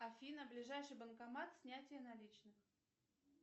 афина ближайший банкомат снятие наличных